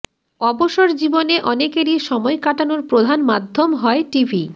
অবসর জীবনে অনেকেরই সময় কাটানোর প্রধান মাধ্যম হয় টিভি